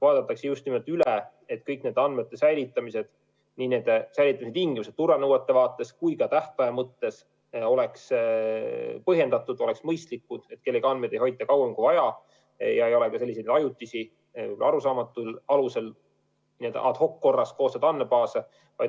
Vaadatakse üle, et kõik nende andmete säilitamise tingimused oleks nii turvanõuete vaates kui ka tähtaja mõttes põhjendatud, oleks mõistlikud, et kellegi andmeid ei hoitaks kauem kui vaja ja ei oleks ajutisi, arusaamatul alusel, n-ö ad-hoc koostatud andmebaase.